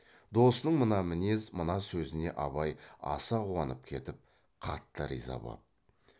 досының мына мінез мына сөзіне абай аса қуанып кетіп қатты риза боп